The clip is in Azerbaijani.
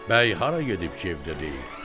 "Bəy hara gedib ki, evdə deyil?"